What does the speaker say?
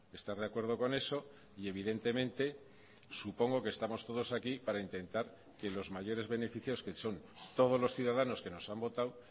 estar de acuerdo con eso y evidentemente supongo que estamos todos aquí para intentar que los mayores beneficios que son todos los ciudadanos que nos han votado